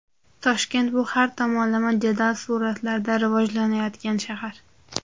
Toshkent bu har tomonlama jadal sur’atlarda rivojlanayotgan shahar.